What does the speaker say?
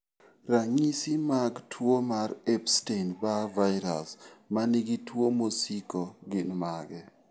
Ranyisi mag tuwo mar Epstein Barr virus ma nigi tuwo mosiko gin mage?